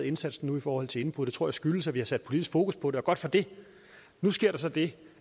indsatsen i forhold til indbrud det tror jeg skyldes at vi har sat politisk fokus på det og godt for det nu sker der så det